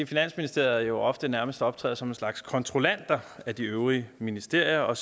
finansministeriet ofte nærmest optræder som en slags kontrollant af de øvrige ministerier og